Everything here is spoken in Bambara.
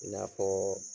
I n'a fɔ